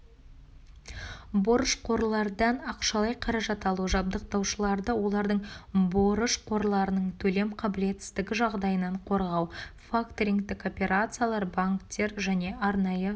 борышқорлардан ақшалай қаражат алу жабдықтаушыларды олардың борышқорларының төлем қаблетсіздігі жағдайынан қорғау факторингтік операциялар банктер және арнайы